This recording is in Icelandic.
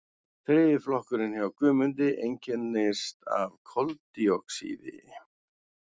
þriðji flokkurinn hjá guðmundi einkennist af koldíoxíði